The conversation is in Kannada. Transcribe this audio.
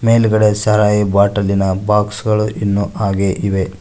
ಮೇಲ್ಗಡೆ ಸಾರಾಯಿ ಬಾಟಲಿನ ಬಾಕ್ಸುಗಳು ಇನ್ನು ಹಾಗೆ ಇವೆ.